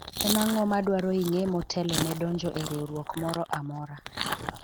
en ang'o madwarore ing'e motelo ne donjo e riwruok moro amora ?